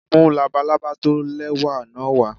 Mú labalábá tó lẹ́wà náà wá.